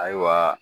Ayiwa